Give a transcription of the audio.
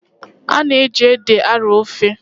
A na-eji ede arọọ ofe.